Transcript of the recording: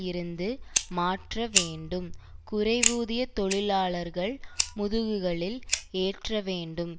இருந்து மாற்ற வேண்டும் குறைவூதிய தொழிலாளர்கள் முதுகுகளில் ஏற்ற வேண்டும்